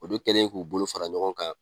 Olu kɛlen k'u bolo fara ɲɔgɔn kan